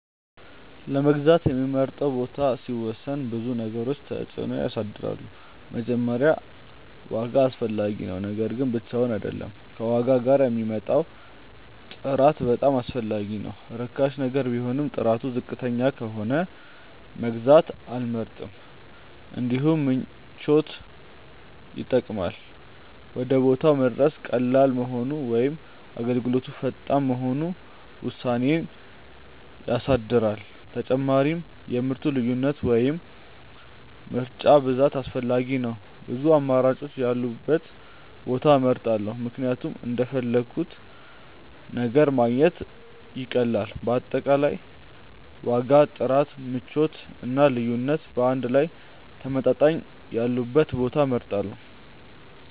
ለመግዛት የምመርጠውን ቦታ ሲወስን ብዙ ነገሮች ተጽዕኖ ያሳድራሉ። መጀመሪያ ዋጋ አስፈላጊ ነው፤ ነገር ግን ብቻውን አይደለም፣ ከዋጋ ጋር የሚመጣው ጥራት በጣም አስፈላጊ ነው። ርካሽ ነገር ቢሆንም ጥራቱ ዝቅተኛ ከሆነ መግዛት አልመርጥም። እንዲሁም ምቾት ይጠቅማል፤ ወደ ቦታው መድረስ ቀላል መሆኑ ወይም አገልግሎቱ ፈጣን መሆኑ ውሳኔዬን ያሳድራል። ተጨማሪም የምርቱ ልዩነት ወይም ምርጫ ብዛት አስፈላጊ ነው፤ ብዙ አማራጮች ያሉበትን ቦታ እመርጣለሁ ምክንያቱም እንደፈለግሁት ነገር ማግኘት ይቀላል። በአጠቃላይ ዋጋ፣ ጥራት፣ ምቾት እና ልዩነት በአንድ ላይ ተመጣጣኝ ያሉበትን ቦታ እመርጣለሁ።